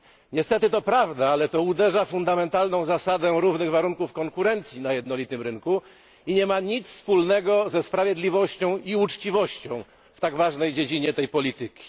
Niestety to prawda, ale uderza to w fundamentalną zasadę równych warunków konkurencji na jednolitym rynku i nie ma nic wspólnego ze sprawiedliwością i uczciwością w tak ważnej dziedzinie tej polityki.